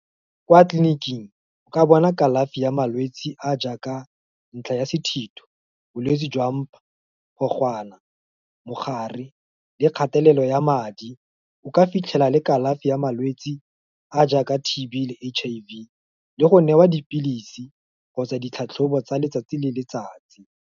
Kwa tleliniking, o ka bona kalafi ya malwetse a jaaka, ntlha ya sethitho, bolwetse jwa mpa, ditlhogwana, mogare, le kgathelelo ya madi, o ka fitlhela le kalafi ya malwetsi a jaaka T_B le H_I_V le go newa dipilisi, kgotsa ditlhatlhobo tsa letsatsi le letsatsi.